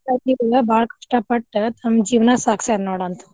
ಬಾಳ ಕಷ್ಟಾ ಪಟ್ಟ ತಮ್ಮ ಜೀವನಾ ಸಾಗಸ್ಯಾರ ನೋಡ್ ಅಂತ.